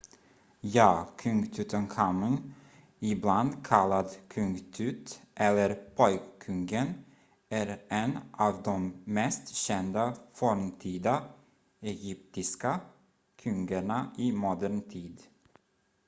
"ja! kung tutankhamun ibland kallad "kung tut" eller "pojkkungen" är en av de mest kända forntida egyptiska kungarna i modern tid.